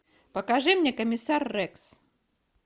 покажи мне комиссар рекс